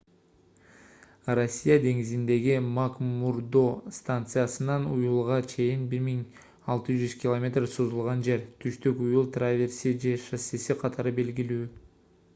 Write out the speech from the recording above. росса деңизиндеги макмурдо станциясынан уюлга чейин 1600 км созулган жер — түштүк уюл траверси же шоссеси катары белгилүү